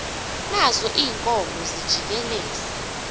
nazo iinkomo zijikeleza